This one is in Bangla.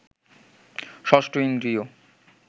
ষষ্ঠ ইন্দ্রিয়